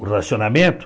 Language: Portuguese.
O racionamento.